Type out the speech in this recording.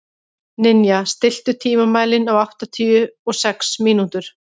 Ninja, stilltu tímamælinn á áttatíu og sex mínútur.